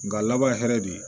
Nga laban ye hɛrɛ de ye